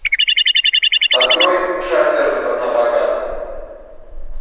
открой шафер напрокат